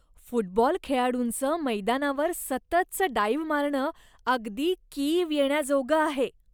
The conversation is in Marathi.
फुटबॉल खेळाडूंचं मैदानावर सततचं डाइव्ह मारणं अगदी कीव येण्याजोगं आहे.